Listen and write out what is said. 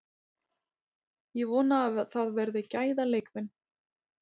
Ég vona að það verði gæða leikmenn.